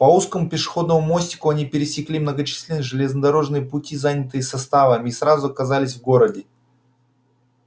по узкому пешеходному мостику они пересекли многочисленные железнодорожные пути занятые составами и сразу оказались в городе